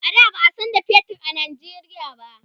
a da ba'a San da fetur a Nigeria ba